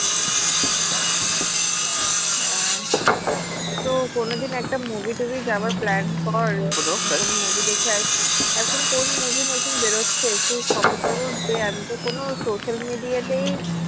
হ্যাঁ তো কোনোদিন একটা movie টুভি যাওয়ার plan কর কোনো movie দেখে আসি এখন কোন movie নতুন বেরোচ্ছে একটু খবর টবর দে আমিতো কোনো social media তেই